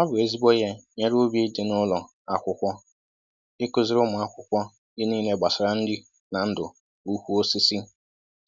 Ọ bụ ezigbo ìhé nyere ubi dị n'ụlọ akwụkwọ, ị kụziri ụmụ akwụkwọ ihe nílé gbasara nri na ndụ ukwu osisi